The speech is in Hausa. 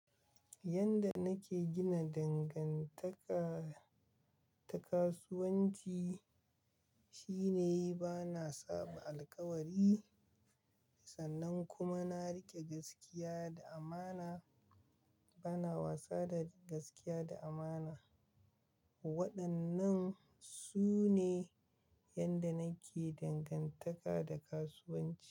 Yanda nake gina dangantaka ta kasuwanci shine bana saɓa alkawari sannan kuma na riƙe gaskiya da amana, bana wasa da gaskiya da amana. Waɗannan sune yanda nake dangantaka da kasuwanci.